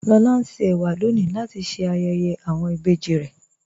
Lọlá ń ṣè èwà lọ́ní latí ṣé ayéyé awọn ìbéjì rè.